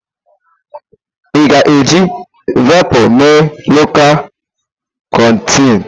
A ga-eji Velpụ mee lọkal kọntentị.